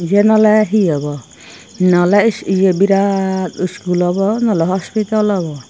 eyon olay he obow naw olay birat school obo nooley hospital obow.